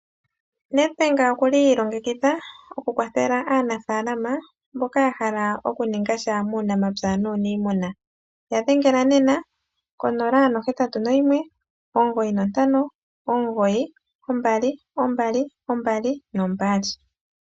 Nedbank okuli iilongekidha okukwathela aanafaalama mboka yahala okuningasha muunamapya nuuniimuna, yadhengela nena 0819592222.